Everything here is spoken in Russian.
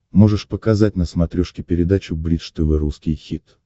можешь показать на смотрешке передачу бридж тв русский хит